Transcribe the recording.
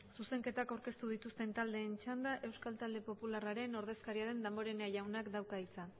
zuzenketak aurkeztu dituzten taldeen txanda euskal talde popularraren ordezkaria den damborenea jaunak dauka hitza